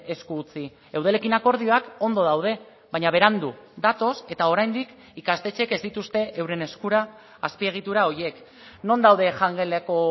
esku utzi eudelekin akordioak ondo daude baina berandu datoz eta oraindik ikastetxeek ez dituzte euren eskura azpiegitura horiek non daude jangeleko